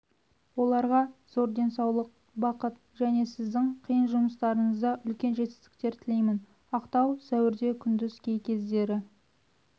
оларға зор денсаулық бақыт және сіздің қиын жұмыстарыңызда үлкен жетістіктер тілеймін ақтау сәуірде күндіз кей кездері